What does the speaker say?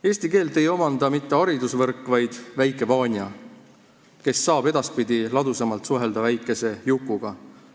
Eesti keelt ei omanda mitte haridusvõrk, vaid väike Vanja, kes saab edaspidi ladusamalt suhelda väikese Jukuga.